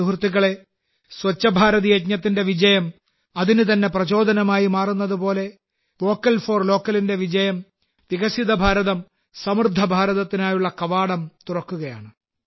സുഹൃത്തുക്കളേ സ്വച്ഛ് ഭാരത് യജ്ഞത്തിന്റെ വിജയം അതിനുതന്നെ പ്രചോദനമായി മാറുന്നതുപോലെ വോക്കൽ ഫോർ ലോക്കലിന്റെ വിജയം വികസിത ഭാരതം സമൃദ്ധഭാരതത്തിനായുള്ള കവാടം തുറക്കുകയാണ്